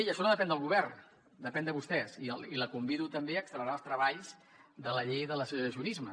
i això no depèn del govern depèn de vostès i la convido també a accelerar els treballs de la llei de l’associacionisme